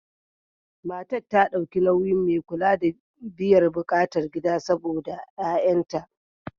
Matan ta dauki nauyin mai kula da biyar bukatan gida saɓoda ƴa'ƴanta.